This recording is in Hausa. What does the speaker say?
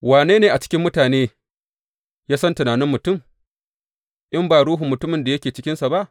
Wane ne a cikin mutane ya san tunanin mutum, in ba ruhun mutumin da yake cikinsa ba?